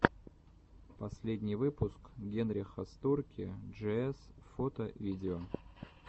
последний выпуск генриха стурки джиэс фото видео